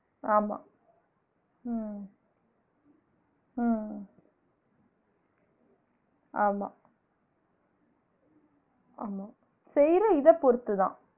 ஆமா உம் உம் ஆமா ஆமா செய்ற இத பொருத்துதான்